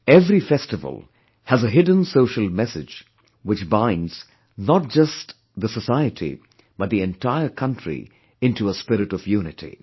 Every festival has a hidden social message which binds not just the society, but the entire country into a spirit of unity